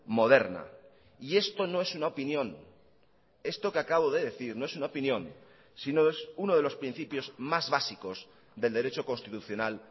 moderna y esto no es una opinión esto que acabo de decir no es una opinión sino es uno de los principios más básicos del derecho constitucional